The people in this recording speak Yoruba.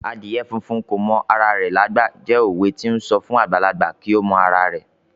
"Adìyẹ funfun kò mọ ara rẹ lágbà" jẹ́ òwe to ń sọ fún àgbàlagbà kí ó mọ ìwọ̀n ara rẹ̀.